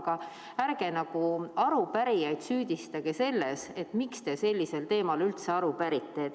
Aga ärge arupärijaid süüdistage selles, et miks te sellisel teemal üldse aru pärite.